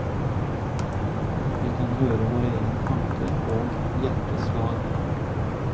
Vi kan høre vår egen tanke og hjerteslag.